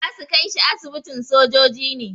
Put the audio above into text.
Za su kai shi asibitin sojoji ne.